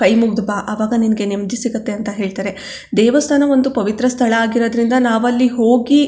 ಕೈ ಮುಗಿದು ಬಾ ಆವಾಗ್ ನಿನಗೆ ನೆಮ್ಮದಿ ಸಿಗುತ್ತೆ ಅಂತ ಹೇಳತ್ತರೆ ದೇವಸ್ಥಾನ ಒಂದು ಪವಿತ್ರ ಸ್ಥಳ ಆಗಿರೋದ್ರಿಂದ ನಾವಲ್ಲಿ ಹೋಗಿ --